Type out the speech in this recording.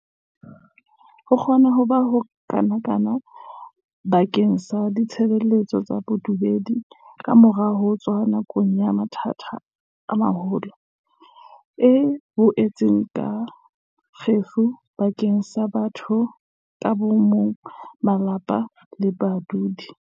Ho kgona ho bokana ba keng sa ditshebeletso tsa bodumedi kamora ho tswa nakong ya mathata a maholo, e boetse e ba kgefu bakeng sa batho ka bo mong, malapa le badudi.